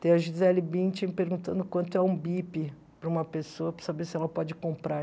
Tem a Gisele Bündchen perguntando quanto é um bip para uma pessoa, para saber se ela pode comprar.